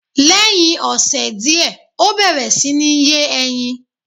Lẹ́hiń ọ̀sè diẹ̀, ọ bẹẹ̀rẹ̀ si ní yé ẹyin